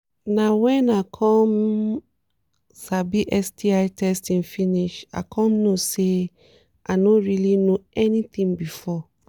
na when i come sabi sti testing finish i i come know say i no really know anything before